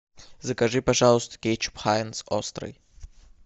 закажи пожалуйста кетчуп хайнц острый